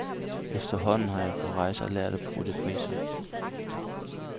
Efterhånden har jeg på rejser lært at prutte priser.